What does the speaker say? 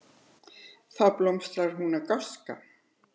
Þá blómstrar hún af gáska.